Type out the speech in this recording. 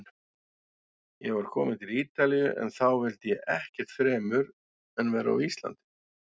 Ég var kominn til Ítalíu- en þá vildi ég ekkert fremur en vera á Íslandi.